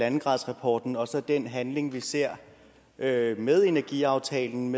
en gradersrapporten og så den handling vi ser med med energiaftalen